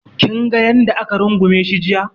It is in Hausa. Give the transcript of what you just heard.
Kinga yanda ya rungume shi jiya